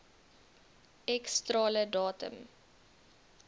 x strale datum